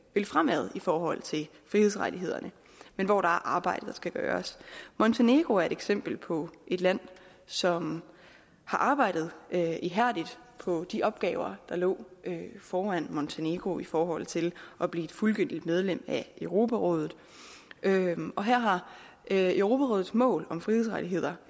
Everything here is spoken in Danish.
vil fremad i forhold til frihedsrettighederne men hvor der er arbejde der skal gøres montenegro er et eksempel på et land som har arbejdet ihærdigt på de opgaver der lå foran montenegro i forhold til at blive et fuldgyldigt medlem af europarådet og her har europarådets mål om frihedsrettigheder